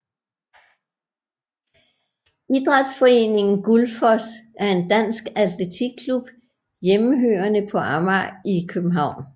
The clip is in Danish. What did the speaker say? Idrætsforeningen Gullfoss er en dansk atletikklub hjemmehørende på Amager i København